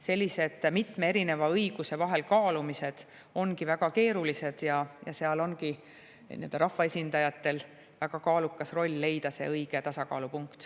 Sellised mitme erineva õiguse vahel kaalumised ongi väga keerulised ja seal ongi rahvaesindajatel väga kaalukas roll leida see õige tasakaalupunkt.